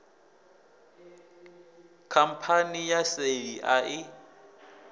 khamphani ya seli a i